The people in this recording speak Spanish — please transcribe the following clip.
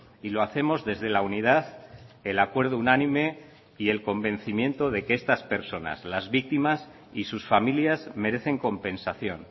y lo hacemos desde la unidad el acuerdo unánime y el convencimiento de que estas personas las víctimas y sus familias merecen compensación